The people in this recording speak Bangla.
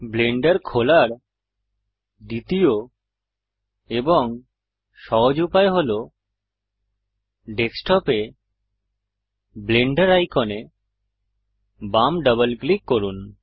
ব্লেন্ডার খোলার দ্বিতীয় এবং সহজ উপায় হল ডেস্কটপে ব্লেন্ডার আইকনে বাম ডবল ক্লিক করুন